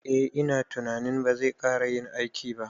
Eh ina tunanin bazai kara yin aiki ba